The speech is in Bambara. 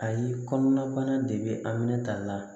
Ayi kɔnɔna bana de be a minɛ ta la